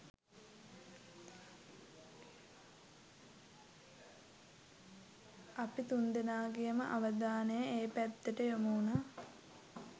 අපි තුන්දෙනාගෙම අවධානෙ ඒ පැත්තට යොමුවුනා.